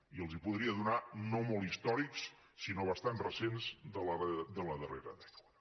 i els els podria donar no molt històrics sinó bastant recents de la darrera dècada